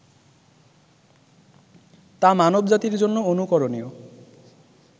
তা মানব জাতির জন্য অনুকরণীয়